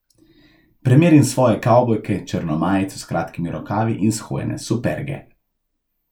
Premerim svoje kavbojke, črno majico s kratkimi rokavi in shojene superge.